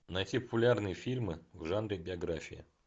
найти популярные фильмы в жанре биография